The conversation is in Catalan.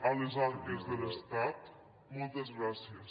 a les arques de l’estat moltes gràcies